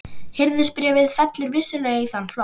Hirðisbréfið fellur vissulega í þann flokk.